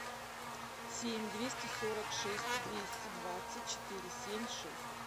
семь двести сорок шесть двести двадцать четыре семь шесть